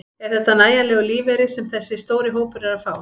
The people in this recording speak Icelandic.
Er þetta nægjanlegur lífeyri sem þessi stóri hópur er að fá?